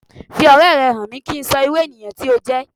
Fi ọ̀rẹ́ rẹ hàn mí kín so ìrú ènìyàn tí o jẹ́